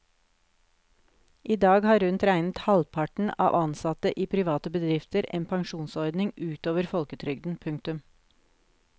I dag har rundt regnet halvparten av ansatte i private bedrifter en pensjonsordning utover folketrygden. punktum